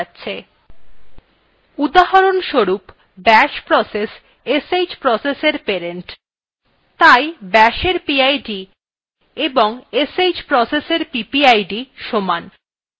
উদাহরণস্বরূপbash process sh processfor parent তাই bashএর pid এবং sh processfor ppid সমান